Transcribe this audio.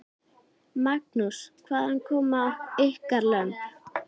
Magnús: Hvaðan koma ykkar lömb?